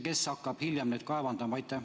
Kes hakkab hiljem neid kaevandama?